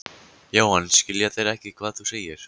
Jóhann: Skilja þeir ekkert hvað þú segir?